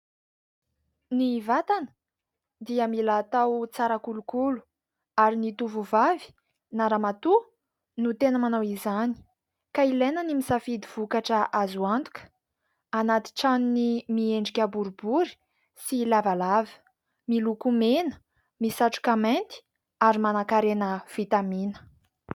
Ny vatana dia mila atao tsara kolokolo ary ny tovovavy na ramatoa no tena manao izany ka ilaina ny misafidy vokatra azo antoka, anaty tranony miendrika boribory sy lavalava, miloko mena, misatroka mainty ary manankarena vitamina.